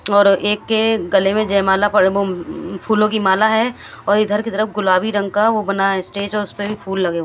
और एक के गले में जयमाला पड फूलों की माला है और इधर की तरफ गुलाबी रंग का वो बना है स्टेज और उसपे भी फूल लगे हुए है।